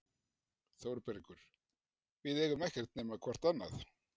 ÞÓRBERGUR: Við eigum ekkert nema hvort annað.